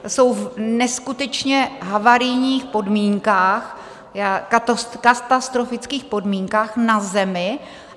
Jsou v neskutečně havarijních podmínkách, katastrofických podmínkách, na zemi.